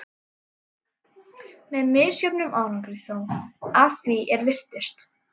Með misjöfnum árangri þó, að því er virtist.